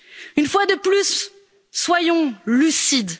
Une fois de plus, soyons lucides.